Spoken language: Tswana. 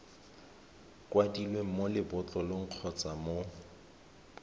kwadilweng mo lebotlolong kgotsa mo